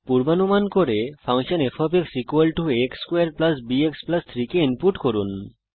পূর্বানুমান করুন এবং function f a x2 b x 3 কে ইনপুট করুন